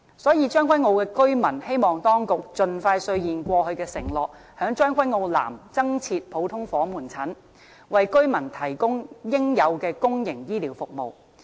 所以，將軍澳居民希望當局盡快兌現過去的承諾，在將軍澳南增設普通科門診，為居民提供應有的公營醫療服務。